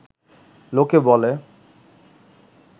লোকে বলে